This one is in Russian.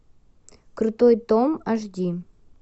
крутой том аш ди